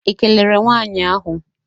Ị kelere nwaanyị ahụ?